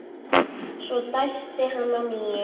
Svo dæsti hann að nýju.